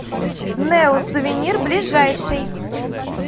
неосувенир ближайший